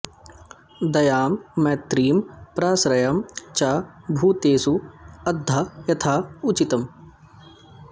दयां मैत्रीं प्रश्रयं च भूतेषु अद्धा यथा उचितम्